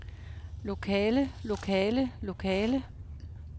lokale lokale lokale